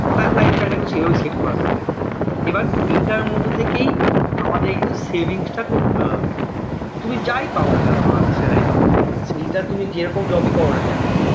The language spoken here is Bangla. তার life style টা কিন্তু সেই ভাবেই সেট করা থাকে এবার এইটার মধ্যে থেকেই আমাদের কিন্তু savings টা করতে হবে তুমি যাই পাওনা কেন salary তও সেইটা তুমি যে রকম job এই করোনা কেন